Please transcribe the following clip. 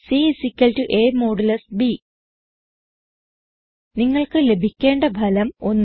c a160 b നിങ്ങൾക്ക് ലഭിക്കേണ്ട ഫലം 1